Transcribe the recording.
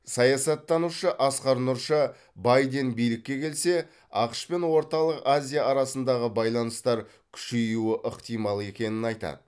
саясаттанушы асқар нұрша байден билікке келсе ақш пен орталық азия арасындағы байланыстар күшеюі ықтимал екенін айтады